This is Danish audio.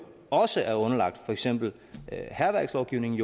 også er underlagt for eksempel hærværkslovgivningen